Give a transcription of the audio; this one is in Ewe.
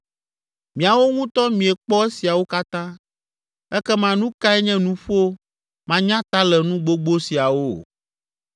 Miawo ŋutɔ miekpɔ esiawo katã. Ekema nu kae nye nuƒo manyatalenu gbogbo siawo?